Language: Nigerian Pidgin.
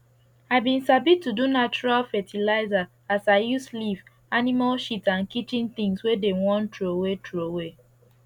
i bin sabi to do natural fertilizer as i use leaf animal shit and kitchen things wey dem wan throway throway